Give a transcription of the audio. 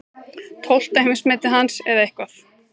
Tólfta heimsmetið hans eða eitthvað.